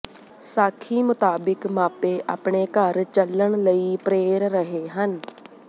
ਸਾਖੀ ਮੁਤਾਬਿਕ ਮਾਪੇ ਆਪਣੇ ਘਰ ਚੱਲਣ ਲਈ ਪ੍ਰੇਰ ਰਹੇ ਹਨ